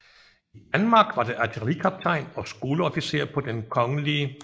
I Danmark var det artillerikaptajn og skoleofficer på den Kgl